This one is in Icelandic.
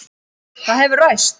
Það hefur ræst.